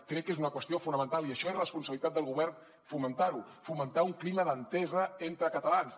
crec que és una qüestió fonamental i això és responsabilitat del govern fomentar ho fomentar un clima d’entesa entre catalans